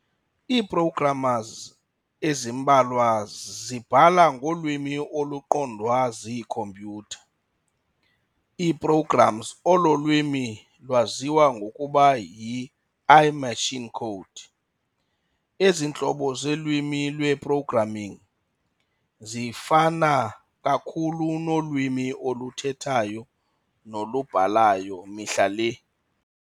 Ii-programmers ezimbalwa zibhala ngolwimi oluqondwa ziikhompyutha ii-programs olo lwimi lwaziwa ngokuba y-i-machine code. Ezi ntlobo zeelwimi lwe-programming zifana kakhulu nolwimi oluthethayo nolubhalayo mihla le.